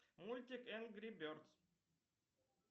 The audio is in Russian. мультик энгри бердс